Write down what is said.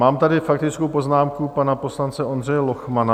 Mám tady faktickou poznámku pana poslance Ondřeje Lochmana.